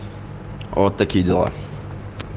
вот такие дела